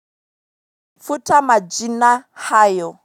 Futa majina hayo.